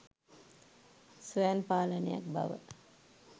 ස්වයං පාලනයක් බව